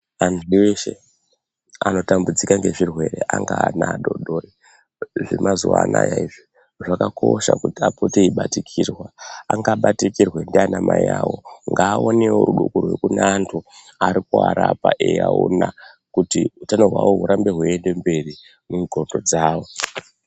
Antu eshe anotambudzika ngezvirwere angaa ana adoodori zvemazuwa anaa izvi zvakakosha kuti apote eibatikirwa. Angabatikirwa ndianamai avo ngavaonewo vanhu vanenge veivarapa kuti utano hwavo hurambe hweienda mberi mundxondo dzavo.